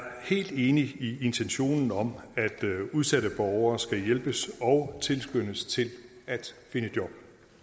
helt enig i intentionen om at udsatte borgere skal hjælpes og tilskyndes til at finde job